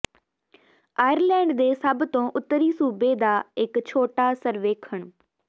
Ireland ਦੇ ਸਭ ਤੋਂ ਉੱਤਰੀ ਸੂਬੇ ਦਾ ਇੱਕ ਛੋਟਾ ਸਰਵੇਖਣ